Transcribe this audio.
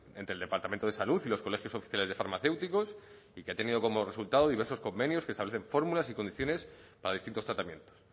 entre el departamento de salud y los colegios oficiales de farmacéuticos y que ha tenido como resultado diversos convenios que salen fórmulas y condiciones para distintos tratamientos